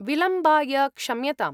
विलम्बाय क्षम्यताम्।